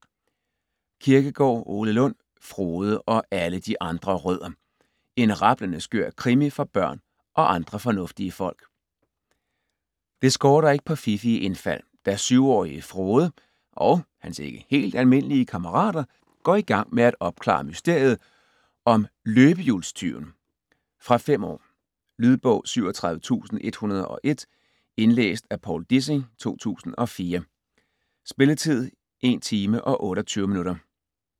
Kirkegaard, Ole Lund: Frode - og alle de andre rødder: en rablende skør krimi for børn og andre fornuftige folk Det skorter ikke på fiffige indfald, da 7-årige Frode og hans ikke helt almindelige kammerater går igang med at opklare mysteriet om løbehjulstyven. Fra 5 år. Lydbog 37101 Indlæst af Povl Dissing, 2004. Spilletid: 1 timer, 28 minutter.